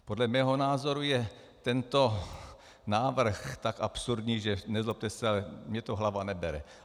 Podle mého názoru je tento návrh tak absurdní, že, nezlobte se, ale mně to hlava nebere.